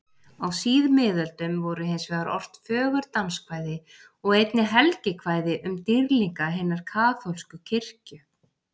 Á síðmiðöldum voru hinsvegar ort fögur danskvæði og einnig helgikvæði um dýrlinga hinnar kaþólsku kirkju.